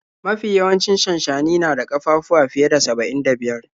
Mafi yawancin shanshani na da ƙafafuwa fiye da saba'in da biyar.